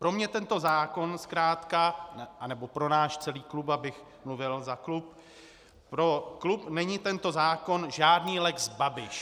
Pro mě tento zákon zkrátka, anebo pro náš celý klub, abych mluvil za klub, pro klub není tento zákon žádný lex Babiš.